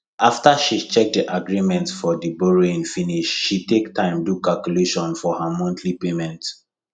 after she check the agreement for borrowing finish she take time do calculation for her monthly payment